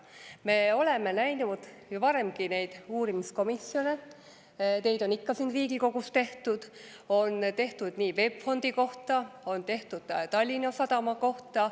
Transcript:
Me oleme näinud ju varemgi neid uurimiskomisjone, neid on ikka siin Riigikogus tehtud: on tehtud VEB Fondi kohta, on tehtud Tallinna Sadama kohta.